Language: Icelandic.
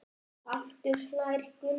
Aftur hlær Gunni við.